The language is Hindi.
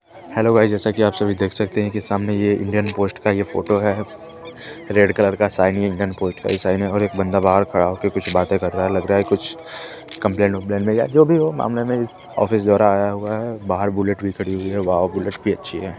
हैलो गाइस जैसा कि आप सभी देख सकते हैं कि सामने ये हिरन पोस्ट का ये फोटो है रेड कलर का शाइनी हिरन पोस्ट का ही शाइन है और एक बंदा बाहर खड़ा होके कुछ बातें कर रहा है लग रहा है कुछ कमप्लेन वमप्लेन में या जो भी हो मामले में इस ऑफिस इधर आया हुआ है बाहर बुलेट भी खडी हुई है वाॅव बुलेट भी अच्छी है।